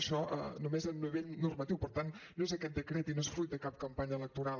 això només a nivell normatiu per tant no és aquest decret i no és fruit de cap campanya electoral